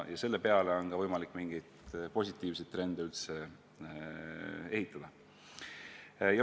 Ja selle peale on ka võimalik mingeid positiivseid trende üles ehitada.